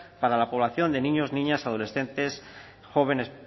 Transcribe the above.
para la población de niños niñas adolescentes jóvenes